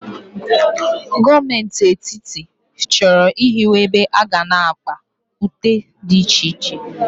Gọọmenti Etiti chọrọ ịhiwe ebe aga na-akpa ute dị iche iche.